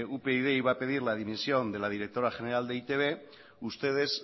upyd iba a pedir la dimisión de la directora general de e i te be ustedes